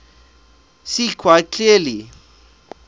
seen quite clearly